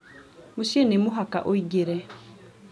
mũciĩ nĩ mũhaka ũingĩre